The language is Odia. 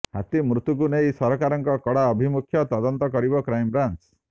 ହାତୀ ମୃତ୍ୟୁକୁ ନେଇ ସରକାରଙ୍କ କଡ଼ା ଆଭିମୁଖ୍ୟ ତଦନ୍ତ କରିବ କ୍ରାଇମ୍ବ୍ରାଞ୍ଚ